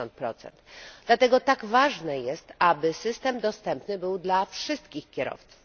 50. Dlatego tak ważne jest, aby system dostępny był dla wszystkich kierowców.